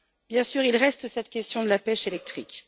Bien sûr, il reste cette question de la pêche électrique.